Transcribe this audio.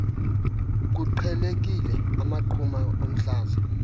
kuqhelekile amaqhuma omhlaza